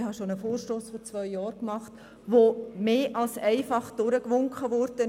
Ich habe schon vor zwei Jahren einen Vorstoss eingereicht, der mehr als einfach durchgewinkt wurde.